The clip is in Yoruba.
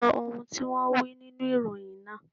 Sọ ohun tí wón wí nínú ìròyìn náà.